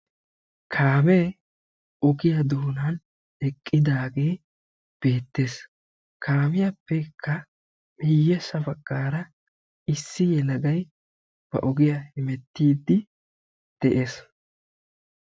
Kaamee ogiyaa doonaan eqqidaagee beettees. kaamiyaappekka miyyessa baggaara issi yelaga ba ogiyaa hemettiidi de'ees.